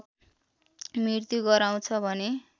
मृत्यु गराउँछ भने